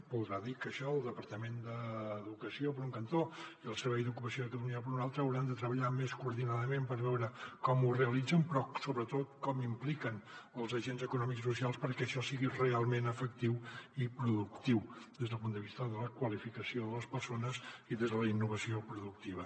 voldrà dir que això el departament d’educació per un cantó i el servei d’ocupació de catalunya per un altre ho hauran de treballar més coordinadament per veure com ho realitzen però sobretot com impliquen els agents econòmics i socials perquè això sigui realment efectiu i productiu des del punt de vista de la qualificació de les persones i des de la innovació productiva